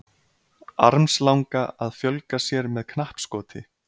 Armslanga að fjölga sér með knappskoti.